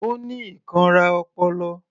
Ó ní ìkanra ọpọlọ